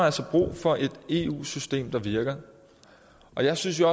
altså brug for et eu system der virker jeg synes jo